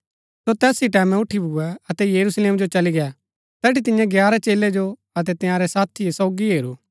सो तैस ही टैमैं उठी भुऐ अतै यरूशलेम जो चली गै तैठी तियें ग्यारह चेलै जो अतै तंयारै साथिओ सोगी हैरू